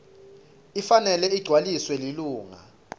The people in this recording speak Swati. ifanele igcwaliswe lilunga